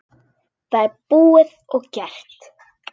Það er búið og gert!